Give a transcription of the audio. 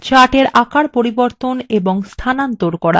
chartsএর আকার পরিবর্তন এবং স্থানান্তর করা